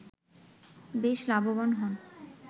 বেশ লাভবান হন